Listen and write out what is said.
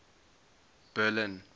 berlin